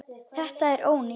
Þetta er ónýtt.